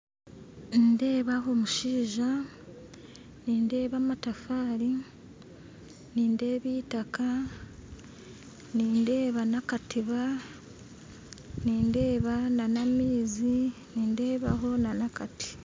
Nindeeba omushaija nindeeba amatafari nindeeba itaka nindeeba n'akatiba nindeeba n'amaizi nindebaho n'akati.